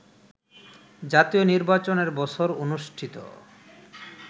জাতীয় নির্বাচনের বছর অনুষ্ঠিত